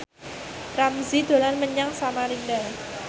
Ramzy dolan menyang Samarinda